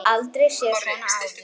Aldrei séð svona áður.